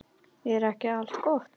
Er ekki allt gott?